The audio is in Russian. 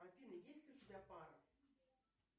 афина есть ли у тебя пара